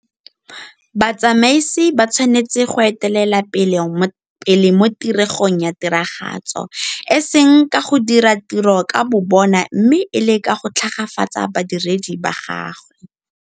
Batsamaisi ba tshwanetse go etelela pele mo tiregong ya tiragatso, e seng ka go dira tiro ka bobona mme e le ka go tlhagafatsa badiredi ba gagwe.